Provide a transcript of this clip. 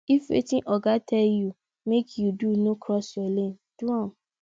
if wetin oga tell you make you do no cross your lane do am